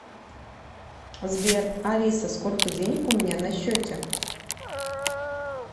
сбер алиса сколько денег у меня на счете